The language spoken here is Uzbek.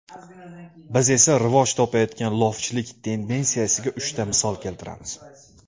Biz esa rivoj topayotgan lofchilik tendensiyasiga uchta misol keltiramiz.